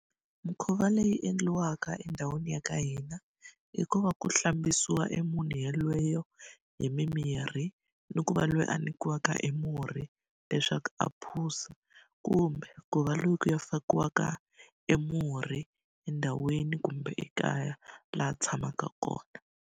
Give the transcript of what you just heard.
Mikhuva leyi endliwaka endhawini ya ka hina, i ku va ku hlambisiwa emunhu yoloye hi mimirhi. Ni ku va loyi a nyikiwaka emurhi leswaku a phuza kumbe ku va loyi ku fakiwaka emurhi endhawini kumbe ekaya laha a tshamaka kona.